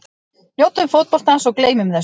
Njótum fótboltans og gleymum þessu.